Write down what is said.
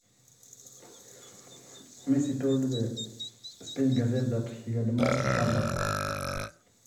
Keng'arita apa ninye peeshukunye neija etiaka messi engaseti oo isipania